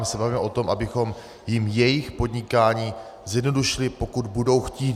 My se bavíme o tom, abychom jim jejich podnikání zjednodušili, pokud budou chtít.